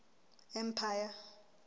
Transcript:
empire